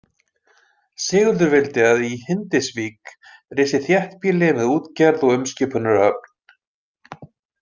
Sigurður vildi að í Hindisvík risi þéttbýli með útgerð og umskipunarhöfn.